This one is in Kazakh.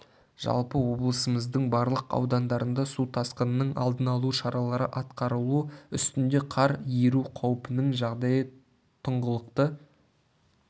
жалпы облысымыздың барлық аудандарында су тасқынын алдын алу шаралары атқарылу үстінде қар еру қаупінің жағдайы тұңғылықты